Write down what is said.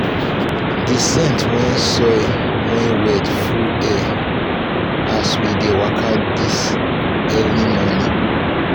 the the scent wey soil wey wet full air as we dey waka this early morning